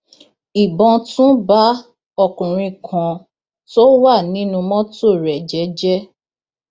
ìbọn tún bá ọkùnrin kan tó wà nínú mọtò rẹ jẹẹjẹẹ